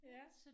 Ja